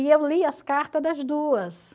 E eu lia as cartas das duas.